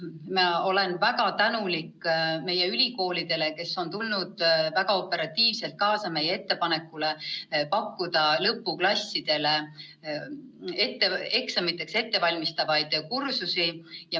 Ma olen väga tänulik meie ülikoolidele, kes on väga operatiivselt reageerinud meie ettepanekule pakkuda lõpuklassidele eksamiks ettevalmistavaid kursusi.